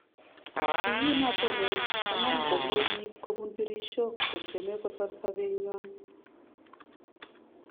Ye kin atonon konam komwei biik kobun tirisiok kotyeme kosar sobet nywony